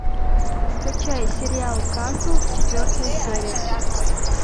скачай сериал касл четвертая серия